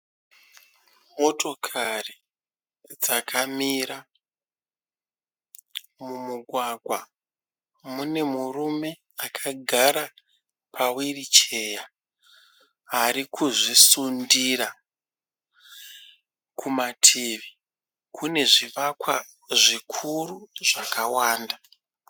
Motokari dzakamira mumugwagwa. Mune murume akagara pahwiricheya ari kuzvisundira. Kumativi kune zvivakwa zvikuru zvakawanda.